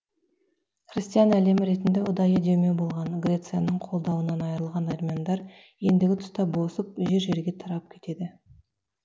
христиан әлемі ретінде ұдайы демеу болған грецияның қолдауынан айырылған армяндар ендігі тұста босып жер жерге тарап кетеді